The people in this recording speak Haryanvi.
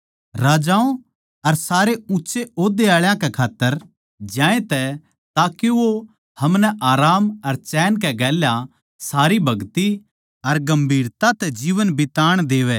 राजाओं अर सारे ऊँच्चे ओद्दे आळा कै खात्तर ज्यांतै ताके वो हमनै आराम अर चैन कै गेल्या सारी भगति अर गम्भीरता तै जीवन बिताण देवै